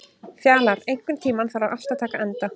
Fjalar, einhvern tímann þarf allt að taka enda.